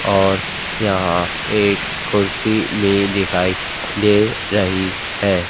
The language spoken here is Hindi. और यहां एक कुर्सी भी दिखाई दे रही है।